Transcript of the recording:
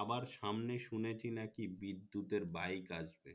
আবার সামনে শুনেছি নাকি বিদ্যুতের বাইক আসবে